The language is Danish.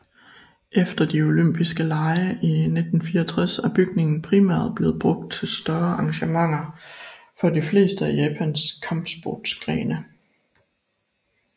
Efter de olympiske lege i 1964 er bygningen primært blevet brugt til større arrangementer for de fleste af Japans kampsportsgrene